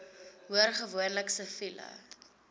hoor gewoonlik siviele